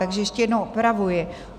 Takže ještě jednou opravuji.